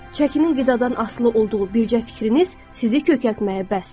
Çəkinin qidadan asılı olduğu bircə fikriniz sizi kökəltməyə bəsdir.